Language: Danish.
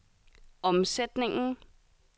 omsætningen